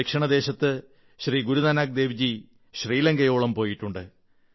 ദക്ഷിണേന്ത്യയിൽ ശ്രീ ഗുരുനാനക് ദേവ് ജി ശ്രീലങ്കയോളം പോയിട്ടുണ്ട്